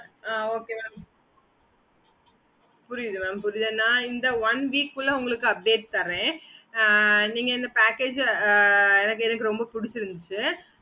okay mam